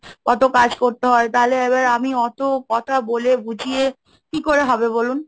কত কাজ করতে হয়? তাহলে এবার আমি অত কথা বলে বুঝিয়ে কি করে হবে বলুন?